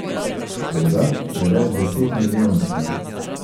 Škoda je večdesetmilijonska.